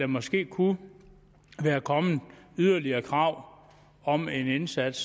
måske kunne være kommet yderligere krav om en indsats